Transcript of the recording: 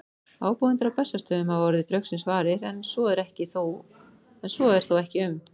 Ábúendur á Bessastöðum hafa orðið draugsins varir, en svo er þó ekki um